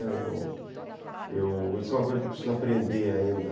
Eu, eu, isso é uma coisa que eu preciso aprender ainda.